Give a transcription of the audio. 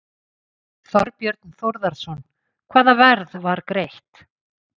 Þorbjörn Þórðarson: Hvaða verð var greitt?